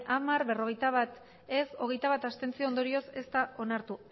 hamar ez berrogeita bat abstentzioak hogeita bat ondorioz ez da onartu